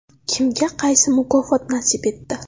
Kimga qaysi mukofot nasib etdi?